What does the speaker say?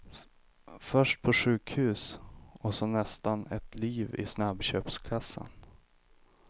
Först på sjukhus, och så nästan ett liv i snabbköpskassan.